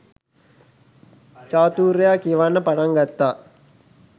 චාතුර්යා කියවන්න පටන් ගත්තා